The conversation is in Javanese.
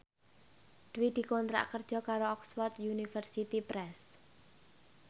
Dwi dikontrak kerja karo Oxford University Press